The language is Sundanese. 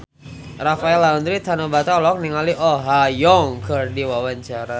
Rafael Landry Tanubrata olohok ningali Oh Ha Young keur diwawancara